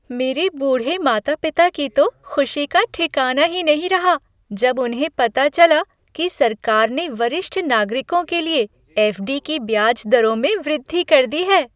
मेरे बूढ़े माता पिता की तो खुशी का ठिकाना ही नहीं रहा, जब उन्हें पता चला कि सरकार ने वरिष्ठ नागरिकों के लिए एफ डी की ब्याज दरों में वृद्धि कर दी है।